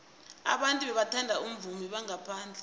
abantu bathanda abavumi bangaphandle